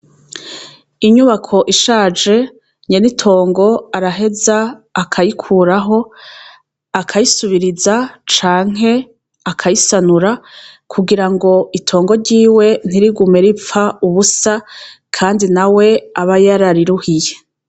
Inyubako ishaje nyene itongo araheza akayikuraho akayisubiriza canke akayisanura kugira ngo itongo ryiwe ntirigume ripfa ubusa, kandi na we aba yarariruhiye.